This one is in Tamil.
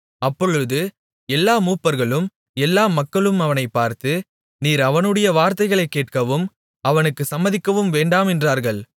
அப்பொழுது எல்லா மூப்பர்களும் எல்லா மக்களும் அவனைப் பார்த்து நீர் அவனுடைய வார்த்தைகளைக் கேட்கவும் அவனுக்குச் சம்மதிக்கவும் வேண்டாம் என்றார்கள்